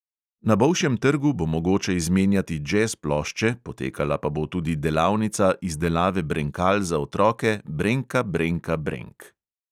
Na bolšjem trgu bo mogoče izmenjati džez plošče, potekala pa bo tudi delavnica izdelave brenkal za otroke brenka brenka brenk.